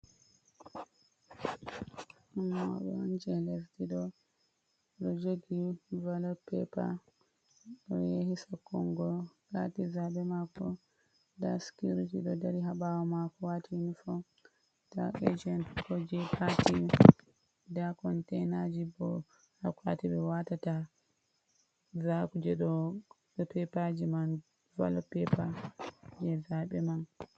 Ɗo mauɗo on je lesdi ɗo, ɗo jogi balod pepa o yahi sakkungo pati zaɓe mako nda sikiriti ɗo dari ha ɓawo mako wati inifon. Nda ejent ko je pati nda konteinaji bo ha akwati ɓe watata zaku je do pepaji man balod pepa je zaɓe man.